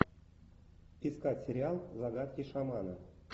искать сериал загадки шамана